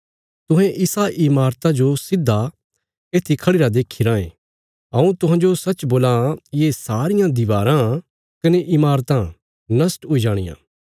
पर यीशुये तिन्हाने गलाया तुहें इसा इमारता जो सिधा येत्थी खढ़िरा देखी रायें हऊँ तुहांजो सच्च बोलां ये सारियां दीवाराँ कने इमारतां नष्ट हुई जाणियां